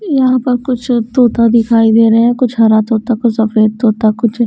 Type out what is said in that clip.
यहां पर कुछ तोता दिखाई दे रहे हैं कुछ हरा तोता कुछ सफेद तोता कुछ--